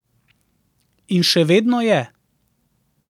In še vedno je.